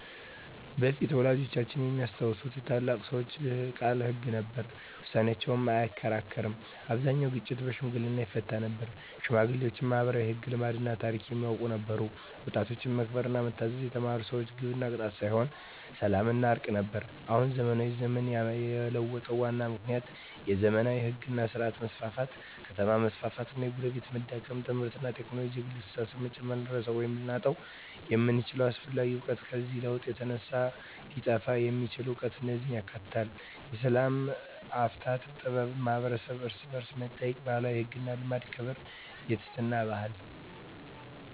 በፊት (ወላጆቻችን የሚያስታውሱት) የታላላቅ ሰዎች ቃል ሕግ ነበር፤ ውሳኔያቸው አይከራከርም አብዛኛውን ግጭት በሽምግልና ይፈታ ነበር ሽማግሌዎች ማኅበራዊ ሕግ፣ ልማድና ታሪክ የሚያውቁ ነበሩ ወጣቶች መከበርና መታዘዝ የተማሩ ነበሩ ግብ ቅጣት ሳይሆን ሰላምና እርቅ ነበር አሁን (ዘመናዊ ዘመን) የለውጡ ዋና ምክንያቶች የዘመናዊ ሕግ ሥርዓት መስፋፋት ከተማ መስፋፋት እና የጎረቤትነት መዳከም ትምህርትና ቴክኖሎጂ የግል አስተሳሰብን መጨመር ልንረሳው ወይም ልናጣው የምንችለው አስፈላጊ እውቀት ከዚህ ለውጥ የተነሳ ሊጠፋ የሚችል እውቀት እነዚህን ያካትታል፦ የሰላም አፈታት ጥበብ የማኅበረሰብ እርስ–በርስ መጠያየቅ የባህላዊ ሕግና ልማድ የክብርና የትሕትና ባህል